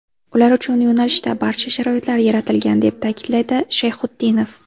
Ular uchun yo‘nalishda barcha sharoitlar yaratilgan”, deb ta’kidlaydi Shayxutdinov.